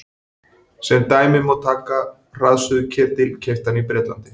Sem dæmi má taka hraðsuðuketil keyptan í Bretlandi.